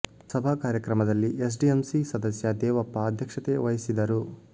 ಸಭಾ ಕಾರ್ಯಕ್ರಮದಲ್ಲಿ S D M C ಸದಸ್ಯ ದೇವಪ್ಪ ಅಧ್ಯಕ್ಷತೆ ವಹಿಸಿದರು